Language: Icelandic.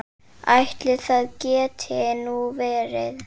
Ætli það geti nú verið.